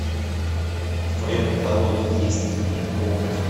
в твоем каталоге есть фильм помнить